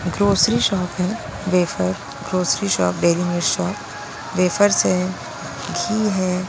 Grocery shop है wafer grocery shop daily use shop wafers है घी है ।